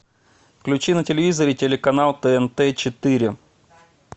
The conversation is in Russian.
включи на телевизоре телеканал тнт четыре